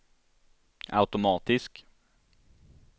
automatisk